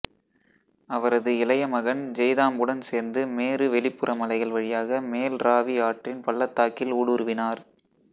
அவரது இளைய மகன் ஜெய்தாம்புடன் சேர்ந்து மேரு வெளிப்புற மலைகள் வழியாக மேல் ராவி ஆற்றின் பள்ளத்தாக்கில் ஊடுருவினார்